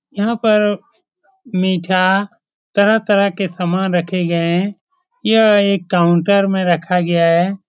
यहाँ पर मीठा तरह-तरह के सामान रखे गए हैं । यह एक काउंटर में रखा गया है ।